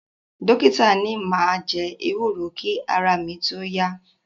Dọ́kítà ni máa ewúro kí ara mi tó yá.